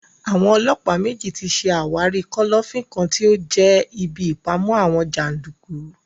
Àwọn ọlọ́pàá méjì tí ṣe àwárí kọ́lọ́fín kan tí ó jẹ́ ibí ìpamọ àwọn jàndùkú